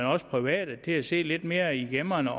også private til at se lidt mere i gemmerne